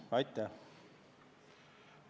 Aitäh!